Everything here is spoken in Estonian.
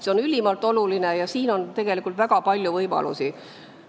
See on ülimalt oluline ja siin on tegelikult väga palju võimalusi.